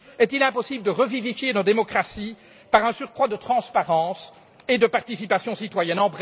Est il impossible de revivifier nos démocraties par un surcroît de transparence et de participation citoyenne?